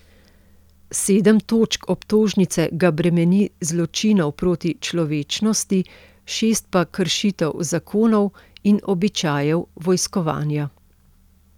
Sedem točk obtožnice ga bremeni zločinov proti človečnosti, šest pa kršitev zakonov in običajev vojskovanja.